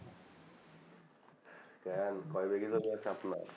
কেন কই ভিগা জমি আর চাপ নাই